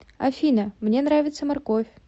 афина мне нравится морковь